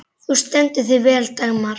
Þú stendur þig vel, Dagmar!